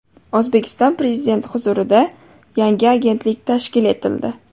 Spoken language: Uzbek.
O‘zbekiston Prezidenti huzurida yangi agentlik tashkil etildi.